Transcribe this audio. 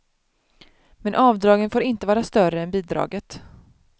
Men avdragen får inte vara större än bidraget.